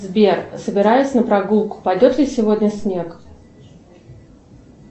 сбер собираюсь на прогулку пойдет ли сегодня снег